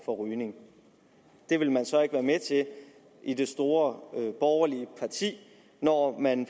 for rygning det vil man så ikke være med til i det store borgerlige parti når man